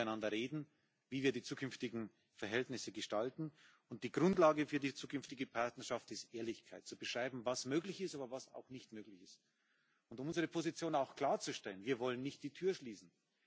Wir müssen miteinander reden, wie wir die zukünftigen Verhältnisse gestalten, und die Grundlage für die zukünftige Partnerschaft ist Ehrlichkeit zu beschreiben, was möglich ist, aber auch, was nicht möglich ist, und unsere Position auch klarzustellen Wir wollen nicht die Tür schließen.